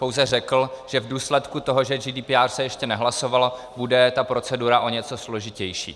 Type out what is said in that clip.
Pouze řekl, že v důsledku toho, že GDPR se ještě nehlasovalo, bude ta procedura o něco složitější.